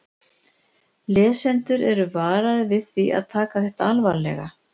Lesendur eru varaðir við því að taka þetta alvarlega.